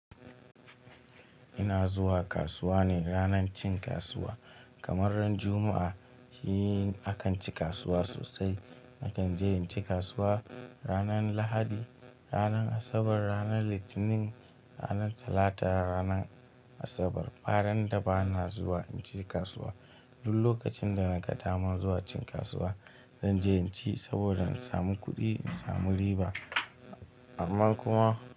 Ina zuwa kasuwa ne ranar cin kasuwa kamar ran Juma'a shi akan ci kasuwa sosai. Nakan je in ci kasuwa ranar Lahadi, ranar Asabar, ranar Litinin, ranar Talata, ranar Asabar. Baranda bana zuwa in ci kasuwa. Duk lokacin da na ga dama zuwa cin kasuwa, zan je in ci saboda in samu kuɗi, in samu riba. Amma kuma.